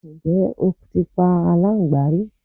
Ǹjẹ́ o ti pa aláńgbá rí?